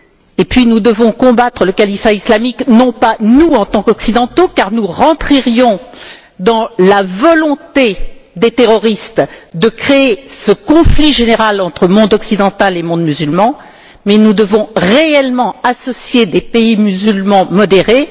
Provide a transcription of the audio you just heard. Et puis nous devons combattre le califat islamique, non pas nous en tant qu'occidentaux, car nous rentrerions dans la volonté des terroristes de créer ce conflit général entre monde occidental et monde musulman, mais nous devons réellement associer des pays musulmans modérés.